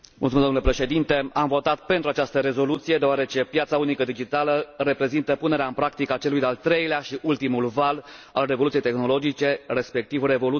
Am votat pentru această rezoluție, deoarece piața unică digitală reprezintă punerea în practică a celui de al treilea și ultimului val al revoluției tehnologice, respectiv revoluția digitală.